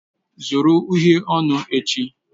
Zụrụ uhiè ọnụ echi!